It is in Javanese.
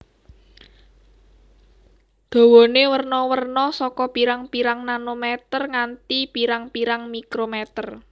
Dawane werna werna saka pirang pirang nanometer nganti prang pirang mikrometer